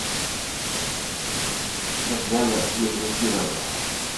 татьяна минзакировна